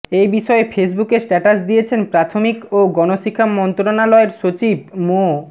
এ বিষয়ে ফেসবুকে স্ট্যাটাস দিয়েছেন প্রাথমিক ও গণশিক্ষা মন্ত্রণালয়ের সচিব মো